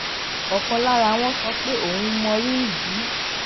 òkan lára wọn sọ pé òun mọrírì bí